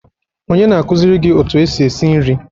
Onye na-akụziri gị otu esi esi nri?